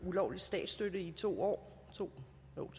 ulovlig statsstøtte i to år to